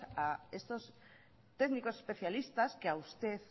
a estos técnicos especialistas que a usted